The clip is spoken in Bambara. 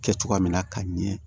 Kɛ cogoya min na ka ɲɛ